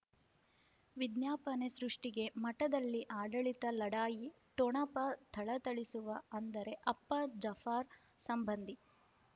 ವಿಜ್ಞಾಪನೆ ಸೃಷ್ಟಿಗೆ ಮಠದಲ್ಲಿ ಆಡಳಿತ ಲಢಾಯಿ ಠೊಣಪ ಥಳಥಳಿಸುವ ಅಂದರೆ ಅಪ್ಪ ಜಾಫಾರ್ ಸಂಬಂಧಿ